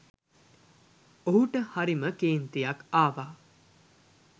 ඔහුට හරිම කේන්තියක් ආවා